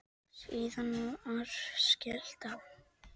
Síðan var skellt á.